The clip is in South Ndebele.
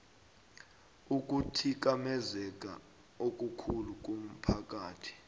ukuthikamezeka okukhulu komphakathi